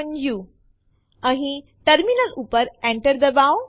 તેમને જોવા માટે એલએસ ટેસ્ટડિર લખો અને Enter દબાવો